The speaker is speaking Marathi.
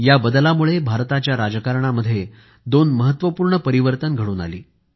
या बदलामुळे भारताच्या राजकारणामध्ये दोन महत्वपूर्ण परिवर्तन घडून आले